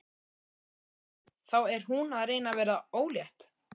Nú, þá er hún að reyna að verða ólétt.